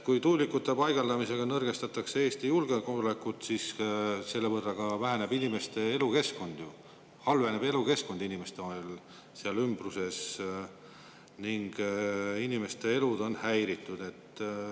Kui tuulikute paigaldamisega nõrgestatakse Eesti julgeolekut, siis selle võrra halveneb ju elukeskkond inimestel seal ümbruses ning inimeste elud on häiritud.